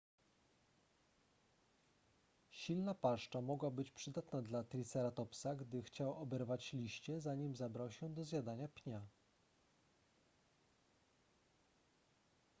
silna paszcza mogła być przydatna dla triceratopsa gdy chciał oberwać liście zanim zabrał się do zjadania pnia